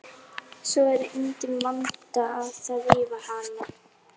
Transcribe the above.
Ég tek Gumma löggu sem dæmi.